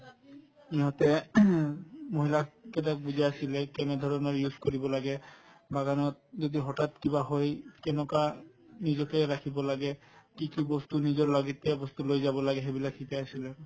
ইহঁতে উম মহিলা কেইটাক বুজাই আছিলে কেনেধৰণৰ use কৰিব লাগে বাগানত যদি হঠাৎ কিবা হয় কেনেকুৱা উম নিজকে ৰাখিব লাগে কি কি বস্তু নিজৰ লাগতীয়াল বস্তু লৈ যাব লাগে সেইবিলাক শিকাই আছিলে